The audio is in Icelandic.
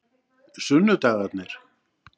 sunnudagarnir